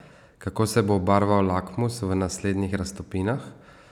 Kako se bo obarval lakmus v naslednjih raztopinah?